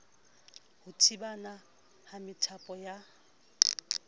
ho thibana ha methapo ya